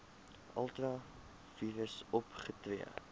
ultra vires opgetree